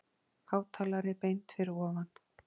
Hátalari beint fyrir ofan.